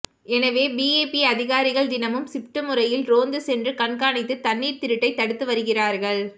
எனவே பிஏபி அதிகாரிகள் தினமும் ஷிப்ட் முறையில் ரோந்து சென்று கண்காணித்து தண்ணீர் திருட்டைத் தடுத்து வருகிறார்கள்